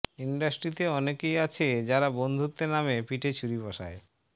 ইন্ডাস্ট্রিতে অনেকেই আছে যারা বন্ধুত্বের নামে পিঠে ছুরি বসায়